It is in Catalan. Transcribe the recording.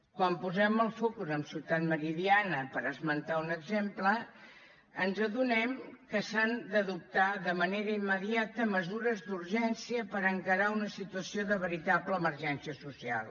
quan posem els focus a ciutat meridiana per esmentar un exemple ens adonem que s’han d’adoptar de manera immediata mesures d’urgència per encarar una situació de veritable emergència social